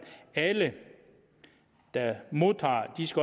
alle der modtager